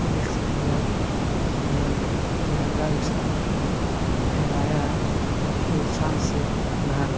देख सकते हैं आप यह तिरंगा विशाल फहराया है। जो शान से लहर रहा --